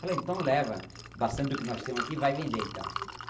Falei, então leva bastante do que nós temos aqui e vai vender então.